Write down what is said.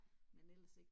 Men ellers ikke